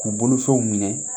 K'u bolofɛnw minɛ